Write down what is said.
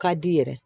Ka di i yɛrɛ